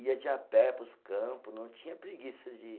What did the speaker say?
Ia de a pé para os campo, não tinha preguiça de ir.